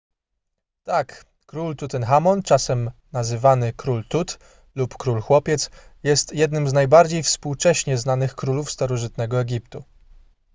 tak król tutenchamon czasem nazywany król tut lub król chłopiec jest jednym z najbardziej współcześnie znanych królów starożytnego egiptu